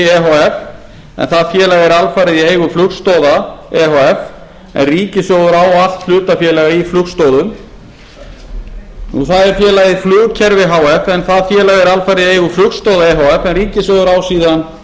e h f en það félag er alfarið í eigu flugstoða e h f en ríkissjóður á allt hlutafé í flugstoðum það er félagið flugkerfi h f en það félag er alfarið í eigu flugstoða efh en ríkissjóður á síðan